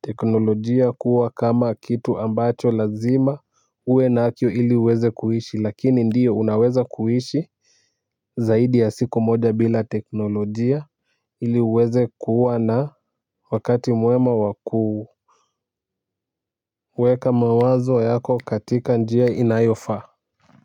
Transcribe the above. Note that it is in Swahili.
teknolojia kuwa kama kitu ambacho lazima uwe nacho ili uweze kuishi lakini ndio unaweza kuishi. Zaidi ya siku moja bila teknolojia ili uweze kuwa na wakati mwema wakuu. Weka mawazo yako katika njia inayofaa. Kwa hivyo.